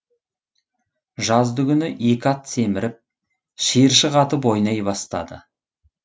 жаздыгүні екі ат семіріп шиыршық атып ойнай бастады